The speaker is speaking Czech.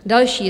Další: